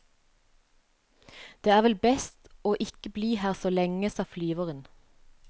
Det er vel best å ikke bli her så lenge, sa flyveren.